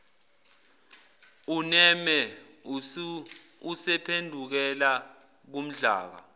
uneme usephendukela kumdlaka